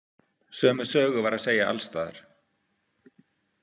Sömu sögu var að segja alls staðar.